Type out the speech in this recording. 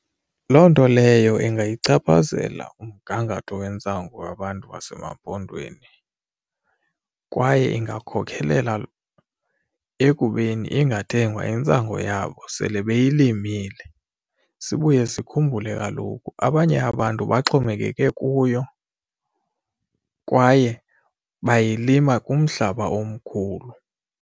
Loo nto leyo ingayichaphazela umgangatho wentsangu wabantu basemaMpondweni kwaye ingakhokhelela ekubeni ingathengwa intsangu yakho babo sele beyilimile. Sibuye sikhumbule kaloku abanye abantu baxhomekeke kuyo kwaye bayilima kumhlaba omkhulu.